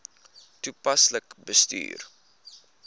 toepaslik bestuur